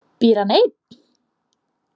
Býr hann einn?